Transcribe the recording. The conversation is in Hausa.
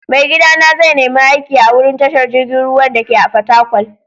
Maigida na zai nima aiki a'wurin tashar jirigin ruwan dake a'Fatakwal.